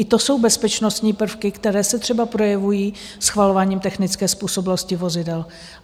I to jsou bezpečnostní prvky, které se třeba projevují schvalováním technické způsobilosti vozidel.